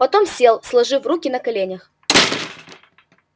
потом сел сложив руки на коленях